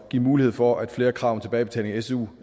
at give mulighed for at flere krav om tilbagebetaling af su